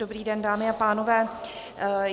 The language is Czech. Dobrý den, dámy a pánové.